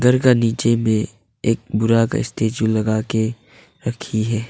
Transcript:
नीचे में एक बड़ा स्टेचू लगाके रखी है।